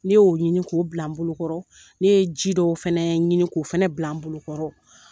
Ne y'o ɲini k'o bila n bolokɔrɔ, ne ye ji dɔw fɛnɛ ɲini k'o fɛnɛ bila n bolokɔrɔ.